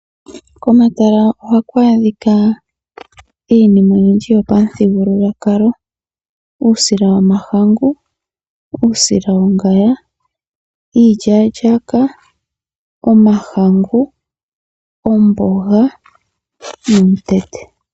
Komatala ohaku adhika iinima oyindji yopamuthigululwakalo. Uusila womahangu, uusila wongaya, iilya lyaaka, omahangu ,omboga nomutete.